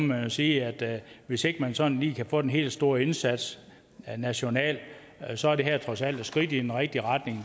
man jo sige at hvis ikke man sådan lige kan få den helt store indsats nationalt så er det her trods alt et skridt i den rigtige retning